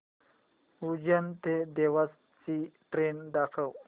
उज्जैन ते देवास ची ट्रेन दाखव